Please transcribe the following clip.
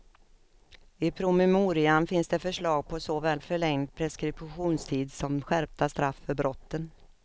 I promemorian finns det förslag på såväl förlängd preskriptionstid som skärpta straff för brotten.